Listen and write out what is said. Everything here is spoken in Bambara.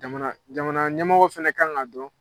Jamana jamana ɲɛmɔgɔw fɛnɛ kan ŋ'a dɔn